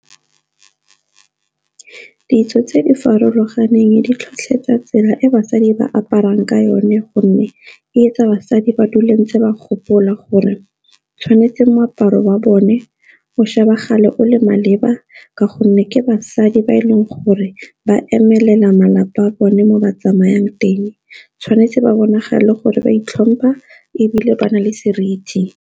Ditso tse di farologaneng di tlhotlheletsa tsela e basadi ba aparang ka yone gonne etsa basadi ba dule ntse ba gopola gore tshwanetse moaparo wa bone o shebagale o le maleba, ka gonne ke basadi ba e leng gore ba emelela malapa a bone mo ba tsamayang teng, tshwanetse ba bonagala gore wa itlhompha ebile ba na le seriti.